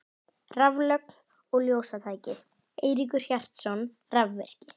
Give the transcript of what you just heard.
Raflögn og ljósatæki: Eiríkur Hjartarson, rafvirki.